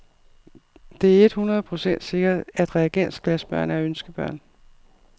Det er et hundrede procent sikkert, at reagensglasbørn er ønskebørn.